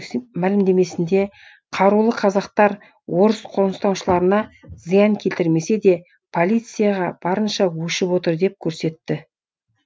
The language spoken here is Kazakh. мәлімдемесінде қарулы қазақтар орыс қоныстанушыларына зиян келтірмесе де полицияға барынша өшігіп отыр деп көрсетті